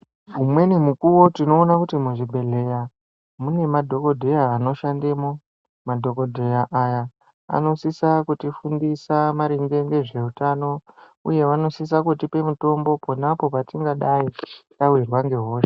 Umweni mukuwo tinoona kuti muzvibhehleya mune madhokodheya anoshandamo . Madhokodheya aya anosisa kutifundisa maringe nezveutano uye vanosisa kutipa mutombo ponapo patingadai tawirwa nehosha .